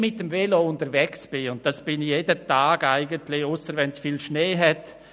Ich bin eigentlich jeden Tag mit dem Velo unterwegs, ausser wenn es viel Schnee hat.